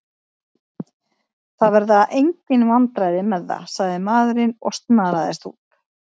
Það verða engin vandræði með það, sagði maðurinn og snaraðist út.